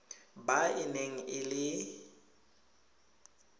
ba e neng e le